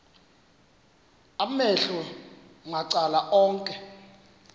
amehlo macala onke